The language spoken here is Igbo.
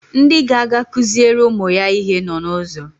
Ndị ga-aga kụziere ụmụ ya ihe nọ n'ụzọ